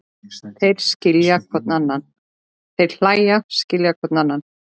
Þeir hlæja, skilja hvor annan.